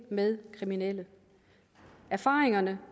med kriminelle erfaringerne